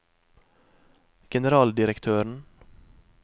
generaldirektøren